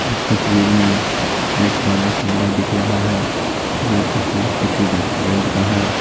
इस तस्वीर में एक बड़ा कमरा दिख रहा है यह तस्वीर किसी रेस्टोरेंट का है।